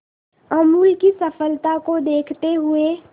अमूल की सफलता को देखते हुए